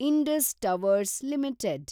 Indus towers limited